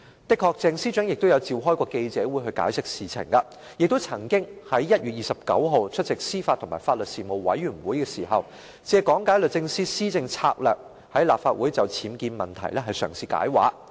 的確，鄭司長曾召開記者會解釋事件，亦曾在1月29日出席司法及法律事務委員會時，借講解律政司的施政策略，在立法會內就僭建問題嘗試"解畫"。